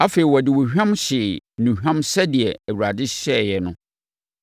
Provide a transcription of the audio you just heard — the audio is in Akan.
Afei, wɔde ohwam hyee nnuhwam sɛdeɛ Awurade hyɛeɛ no.